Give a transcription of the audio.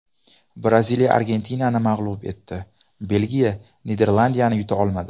Braziliya Argentinani mag‘lub etdi, Belgiya Niderlandiyani yuta olmadi .